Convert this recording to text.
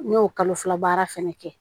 N y'o kalo fila baara fɛnɛ kɛ